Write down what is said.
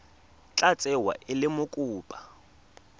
tla tsewa e le mokopa